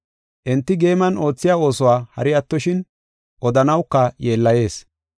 Enti geeman oothiya oosuwa hari attoshin odanawuka yeellayees.